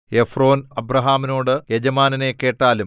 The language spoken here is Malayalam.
എഫ്രോൻ അബ്രാഹാമിനോട് യജമാനനേ കേട്ടാലും